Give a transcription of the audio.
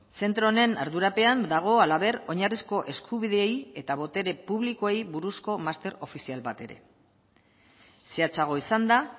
zentro honen ardurapean dago halaber oinarrizko eskubideei eta botere publikoei buruzko master ofizial bat ere zehatzago izanda